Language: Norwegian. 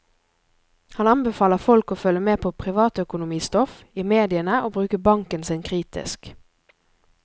Han anbefaler folk å følge med på privatøkonomistoff i mediene og bruke banken sin kritisk.